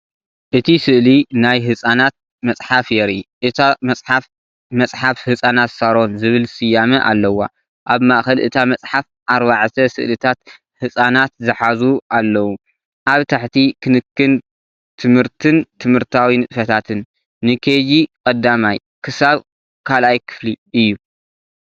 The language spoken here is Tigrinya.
እቲ ስእሊ ናይ ህጻናት መጽሓፍ የርኢ። እታ መጽሓፍ "መጽሓፍ ህጻናት ሳሮን" ዝብል ስያመ ኣለዋ። ኣብ ማእከል እታ መጽሓፍ ኣርባዕተ ስእልታት ህጻናት ዝሓዙ ኣለዉ። ኣብ ታሕቲ "ክንክን፣ ትምህርትን ትምህርታዊ ንጥፈታትን ንKG-1 ክሳብ 2ይ ክፍሊ" እዩ።